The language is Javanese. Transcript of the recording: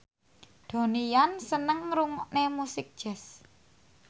Donnie Yan seneng ngrungokne musik jazz